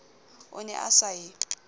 o ne o sa e